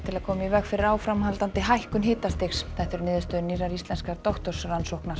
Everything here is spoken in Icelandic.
að koma í veg fyrir áframhaldandi hækkun hitastigs þetta eru niðurstöður nýrrar íslenskrar